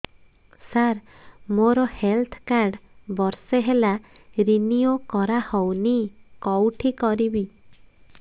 ସାର ମୋର health card ବର୍ଷେ ହେଲା ରିନିଓ କରା ହଉନି କଉଠି କରିବି